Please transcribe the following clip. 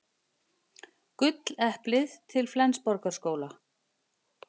Gulleplið til Flensborgarskóla